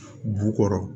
Bu kɔrɔ